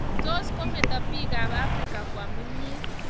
Tos kometo piikapn Africa kwam kimyet?